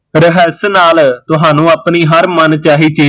ਨਾਲ ਤੁਹਾਨੂੰ ਆਪਣੀ ਹਰ ਮਨ ਚਾਹੀ ਚੀਜ਼